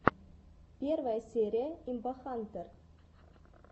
первая серия имбахантэр